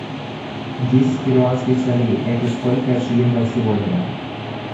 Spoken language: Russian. десять перуанских солей это сколько шиллингов сегодня